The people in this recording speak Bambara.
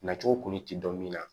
Nacogo kun ti dɔn min na